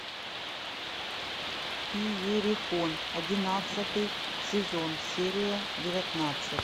иерихон одиннадцатый сезон серия девятнадцать